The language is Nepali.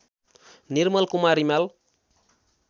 निर्मल कुमार रिमाल